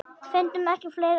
Fundum ekki fleiri orð.